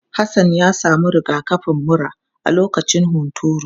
Hassan ya samu rigakafin mura a lokacin hunturu.